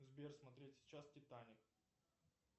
сбер смотреть сейчас титаник